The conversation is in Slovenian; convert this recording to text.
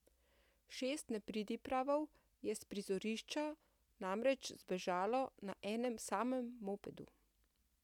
Šest nepridipravov je s prizorišča namreč zbežalo na enem samem mopedu.